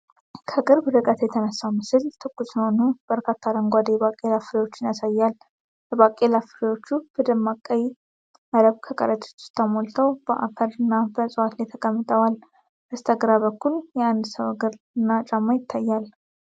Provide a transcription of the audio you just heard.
ከቅርብ ርቀት የተነሳው ምስል ትኩስ የሆኑ በርካታ አረንጓዴ የባቄላ ፍሬዎችን ያሳያል። የባቄላ ፍሬዎቹ በደማቅ ቀይ መረብ ከረጢት ውስጥ ተሞልተው በአፈር እና በእፅዋት ላይ ተቀምጠዋል። በስተግራ በኩል የአንድ ሰው እግር እና ጫማ ይታያል።